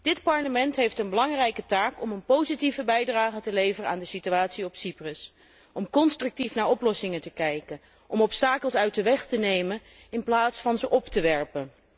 Dit Parlement heeft een belangrijke taak om een positieve bijdrage te leveren aan de situatie op Cyprus, om constructief naar oplossingen te zoeken, om obstakels uit de weg te ruimen in plaats van ze op te werpen.